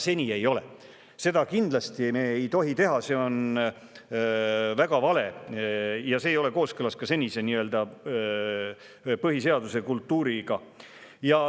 Seda me kindlasti ei tohi teha, see on väga vale ja see ei ole kooskõlas ka senise põhiseaduse kultuuriga.